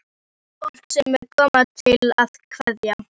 Fólk sem er komið til að kveðja.